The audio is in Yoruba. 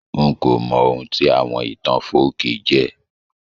N ko mọ oun tí àwon ìtàn folkí jẹ́